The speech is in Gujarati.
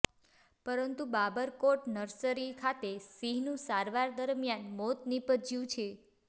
પરંતુ બાબરકોટ નર્સરી ખાતે સિંહનું સારવાર દરમિયાન મોત નીપજ્યું છે